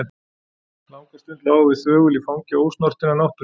Langa stund lágum við þögul í fangi ósnortinnar náttúru.